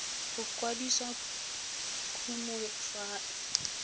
go kwadisa kumo fa e